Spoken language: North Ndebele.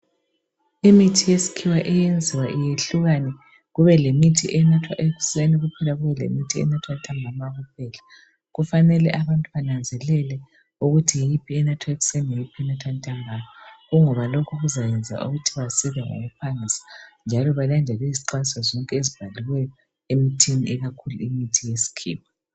Imithi yesikhiwa iyenziwa iyehlukane kube lemithi enathwa ekuseni kuphela, kube lemithi enathwa ntambama kuphela. Kufanele abantu bananzelele ukuthi yiphi enathwa ekuseni yiphi enathwa ntambama kungoba lokhu kuzayenza ukuthi basile ngokuphangisa njalo balandele izixwayiso zonke ebhaliweyo emithini yonke ikakhulu imithi yesikhiwa.